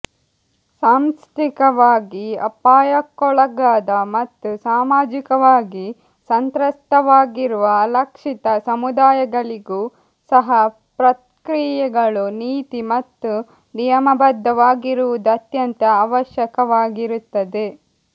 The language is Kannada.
ಸಾಂಸ್ಥಿಕವಾಗಿ ಅಪಾಯಕ್ಕೊಳಗಾದ ಮತ್ತು ಸಾಮಾಜಿಕವಾಗಿ ಸಂತ್ರಸ್ತವಾಗಿರುವ ಅಲಕ್ಷಿತ ಸಮುದಾಯಗಳಿಗೂ ಸಹ ಪ್ರಕ್ರಿಯೆಗಳು ನೀತಿ ಮತ್ತು ನಿಯಮಬದ್ಧವಾಗಿರುವುದು ಅತ್ಯಂತ ಅವಶ್ಯಕವಾಗಿರುತ್ತದೆ